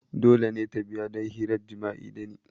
Dole ne ta biya don hirar jima'i da ni!